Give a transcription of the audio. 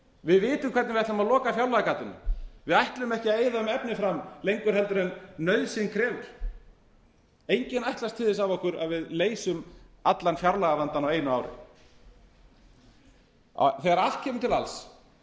við vitum hvernig við ætlum að loka fjárlagagatinu við ætlum ekki að eyða um efni fram lengur heldur en nauðsyn krefur enginn ætlast til þess af okkur að við leysum allan fjárlagavandann á einu ári þegar allt kemur til alls